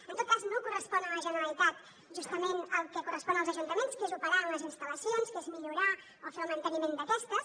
en tot cas no correspon a la generalitat justament el que correspon als ajuntaments que és operar en les instal·lacions que és millorar o fer el manteniment d’aquestes